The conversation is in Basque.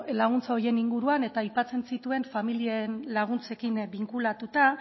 laguntza horien inguruan eta aipatzen zituen familien laguntzekin binkulatuta